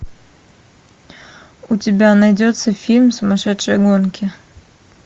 у тебя найдется фильм сумасшедшие гонки